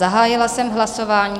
Zahájila jsem hlasování.